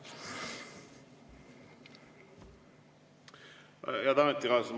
Head ametikaaslased!